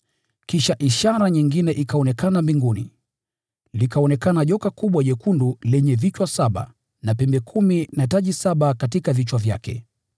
Kisha ishara nyingine ikaonekana mbinguni: Likaonekana joka kubwa jekundu lenye vichwa saba na pembe kumi na taji saba katika vichwa vyake.